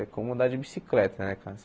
É como andar de bicicleta, né, cara?